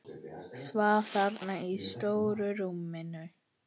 Svaf þarna í stóru rúminu.